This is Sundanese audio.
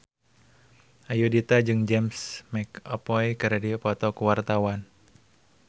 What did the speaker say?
Ayudhita jeung James McAvoy keur dipoto ku wartawan